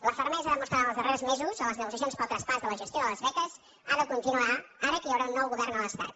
la fermesa demostrada els darrers mesos en les negociacions per al traspàs de la gestió de les beques ha de continuar ara que hi haurà un nou govern a l’estat